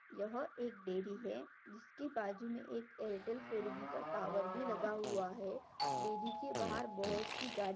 यह एक डेअरी है जिसके बाजू मे एक एयरटेल फोर जी का टॉवर भी लगा हुआ है डेअरी के बाहर बहुत सी गाड़ी--